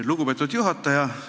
Lugupeetud juhataja!